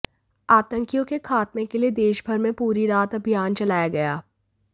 आतंकियों के खात्मे के लिए देशभर में पूरी रात अभियान चलाया गया